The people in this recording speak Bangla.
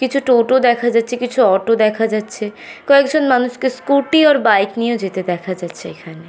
কিছু টোটো দেখা যাচ্ছে কিছু অটো দেখা যাচ্ছে। কয়েকজন মানুষকে স্কুটি আর বাইক নিয়ে যেতে দেখা যাচ্ছে এখানে।